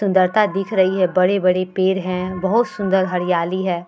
सुंदरता दिख रही है बड़े-बड़े पेड़ हैं। बहुत सुन्दर हरियाली है।